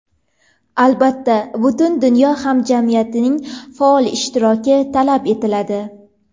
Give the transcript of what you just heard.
Albatta, butun dunyo hamjamiyatining faol ishtiroki talab etiladi.